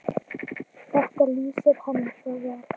Þetta lýsir henni svo vel.